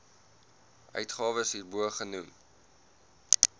uitgawes hierbo genoem